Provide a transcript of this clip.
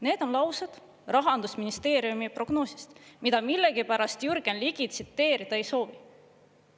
Need on laused Rahandusministeeriumi prognoosist, mida millegipärast Jürgen Ligi tsiteerida ei soovi.